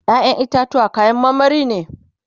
ƴaƴan itatuwa kayan marmari ne